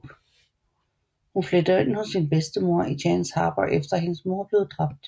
Hun flytter ind hos sin bedstemor i Chance Harbor efter at hendes mor er blevet drabt